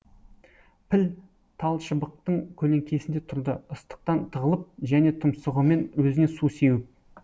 піл тал шыбықтың көлеңкесінде тұрды ыстықтан тығылып және тұмсығымен өзіне су сеуіп